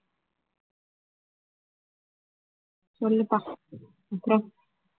சொல்லுப்பா அப்புறம்